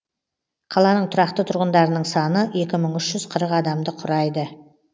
қаланың тұрақты тұрғындарының саны екі мың үш жүз қырық адамды құрайды